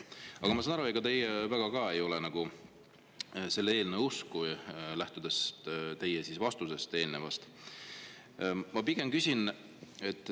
Aga ma saan aru, et ega teiegi väga selle eelnõu usku ei ole, kui lähtuda teie eelmisest vastusest.